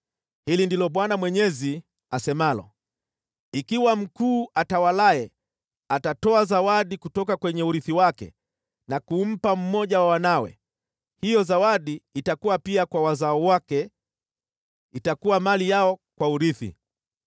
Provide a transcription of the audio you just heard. “ ‘Hili ndilo Bwana Mwenyezi asemalo: Ikiwa mkuu atawalaye atatoa zawadi kutoka kwenye urithi wake na kumpa mmoja wa wanawe, hiyo zawadi itakuwa pia kwa wazao wake, itakuwa mali yao kwa urithi.